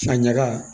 A ɲaga